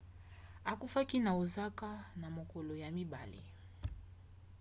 akufaki na osaka na mokolo ya mibale